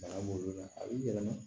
Bana b'olu la a b'i yɛlɛma